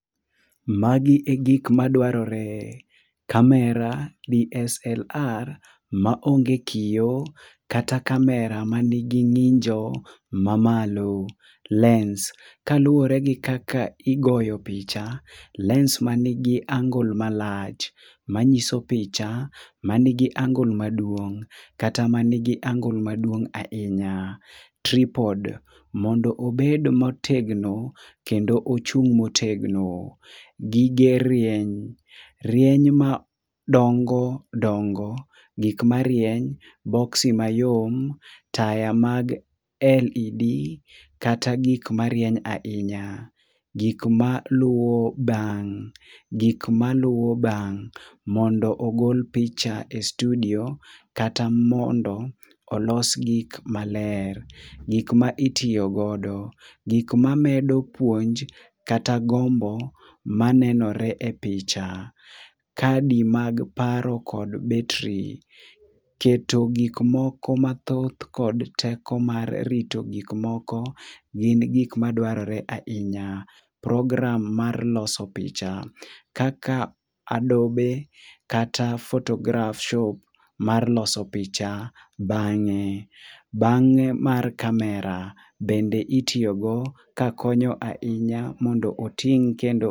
Magi e gik madwarore: kamera DSLR ma onge kio kata kamera ma nigi ng'injo ma malo. Lens: ka luwore gi kaka igoyo picha, lens ma nigi angle malach, manyiso picha ma nigi angle maduong', kata ma nigi angle maduong' ahinya. Tripod: mondo obed motegno, kendo ochung' motegno. Gige rieny, rieny ma dongo dongo. Gik marieny, boksi mayom, taya mag LED, kata gik marieny ahinya. Gik ma luwo bang: gik maluwo bang', mondo ogol picha e studio kata mondo olos gik maler. Gik ma itiyogodo: gik ma medo puonj kata gombo ma nenore e picha. Kadi mag paro kod betri: keto gik moko mathoth kod teko mar rito gik moko gin gik madwarore ahinya. Program mar loso picha: Kaka Adobe kata photograph shop mar loso picha bang'e. Bang'e mar kamera bende itiyogo ka konyo ahinya mondo oting' kendo.